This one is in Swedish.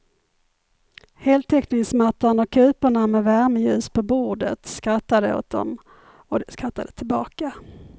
Heltäckningsmattan och kuporna med värmeljus på bordet skrattade åt dem och de skrattade tillbaka.